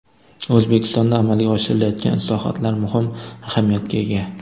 O‘zbekistonda amalga oshirilayotgan islohotlar muhim ahamiyatga ega.